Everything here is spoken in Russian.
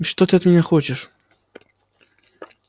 и что ты от меня хочешь